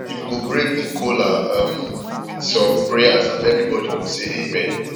him go break di kola um with som prayers and evribody go say amen